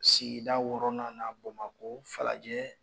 Sigida wɔɔrɔnan na BAMAKƆ FALAJƐ.